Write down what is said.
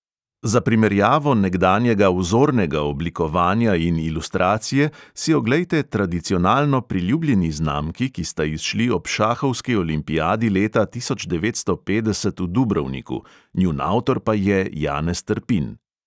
Za primerjavo nekdanjega vzornega oblikovanja in ilustracije si oglejte tradicionalno priljubljeni znamki, ki sta izšli ob šahovski olimpiadi leta tisoč devetsto petdeset v dubrovniku, njun avtor pa je janez trpin.